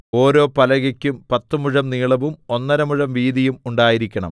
ഓരോ പലകയ്ക്കും പത്തുമുഴം നീളവും ഒന്നര മുഴം വീതിയും ഉണ്ടായിരിക്കണം